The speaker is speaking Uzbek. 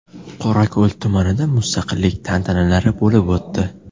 Qorako‘l tumanida mustaqillik tantanalari bo‘lib o‘tdi .